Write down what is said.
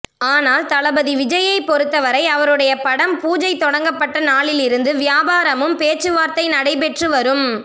ஆனால் தளபதி விஜய்யை பொருத்தவரை அவருடைய படம் பூஜை தொடங்கப்பட்ட நாளிலிருந்து வியாபாரமும் பேச்சுவார்த்தை நடைபெற்று வரும்